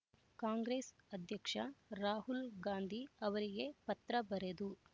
ಕಾಂಗ್ರೆಸ್ ಅಧ್ಯಕ್ಷ ರಾಹುಲ್ ಗಾಂಧಿ ಅವರಿಗೆ ಪತ್ರ ಬರೆದು